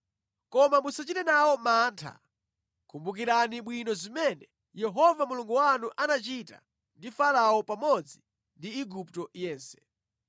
Koma musachite nawo mantha, kumbukirani bwino zimene Yehova Mulungu wanu anachita ndi Farao pamodzi ndi Igupto yense.